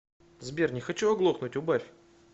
сбер не хочу оглохнуть убавь